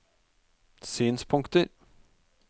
synspunkter